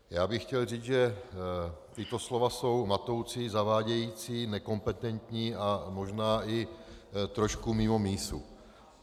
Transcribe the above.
Já bych chtěl říct, že tato slova jsou matoucí, zavádějící, nekompetentní a možná i trošku mimo mísu.